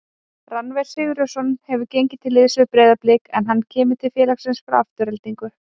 Rannver Sigurjónsson hefur gengið til liðs við Breiðablik en hann kemur til félagsins frá Aftureldingu.